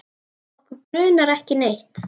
Okkur grunar ekki neitt.